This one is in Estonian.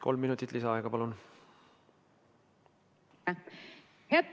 Kolm minutit lisaaega, palun!